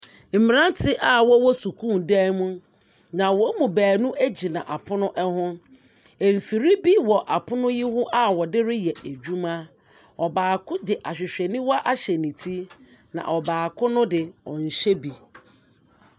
Mmerante a wɔwɔ sukuu dan mu. Na wɔn mu beenu gyina apono ho. Mfiri bi wɔ apono yi ho a wɔde reyɛ adwuma. Baako de ahwehwɛniwa ahyɛ ne ti na ɔbaako no de, ɔnhyɛ bi.